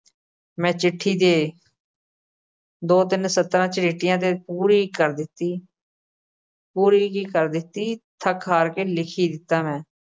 ਮੈਂ ਚਿੱਠੀ ਦੇ ਦੋ-ਤਿੰਨ ਸਤਰਾਂ 'ਚ ਪੂਰੀ ਕਰ ਦਿੱਤੀ। ਪੂਰੀ ਕੀ ਕਰ ਦਿੱਤੀ ਥੱਕ ਹਾਰ ਕੇ ਲਿਖ ਹੀ ਦਿੱਤਾ ਮੈਂ